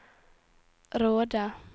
Råde